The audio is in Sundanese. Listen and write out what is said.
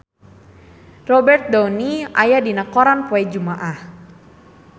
Robert Downey aya dina koran poe Jumaah